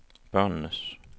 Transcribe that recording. børnenes